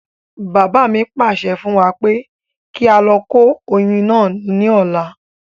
Bàbá mi pàṣẹ fún wa pé kí á lọ kó oyin náà ní ọ̀la